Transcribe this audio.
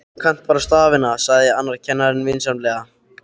Þú kannt bara stafina, sagði annar kennarinn vinsamlega.